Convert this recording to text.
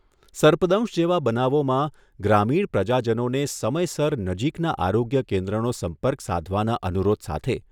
સર્પદંશ જેવા બનાવોમાં ગ્રામીણ પ્રજાજનોને સમયસર નજીકના આરોગ્ય કેન્દ્રનો સંપર્ક સાધવાના અનુરોધ સાથે